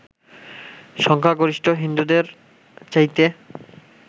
সংখ্যাগরিষ্ঠ হিন্দুদের চাইতে